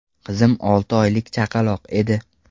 Qizim olti oylik chaqaloq edi.